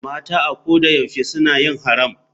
Mata a ko da yaushe suna yin haram.